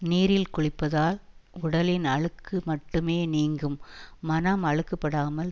நீரில் குளிப்பதால் உடலின் அழுக்கு மட்டுமே நீங்கும் மனம் அழுக்குப்படாமல்